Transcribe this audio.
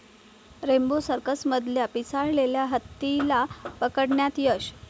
Rambo सर्कसमधल्या पिसाळलेल्या हत्तीला पकडण्यात यश